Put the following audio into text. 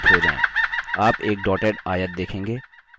आप एक dotted आयत देखेंगे